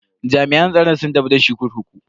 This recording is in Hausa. Jami'an tsaron sun tafi da shi kurkuku.